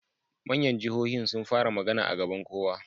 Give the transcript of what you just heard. Manyan jahohin sun fara magana a gaban kowa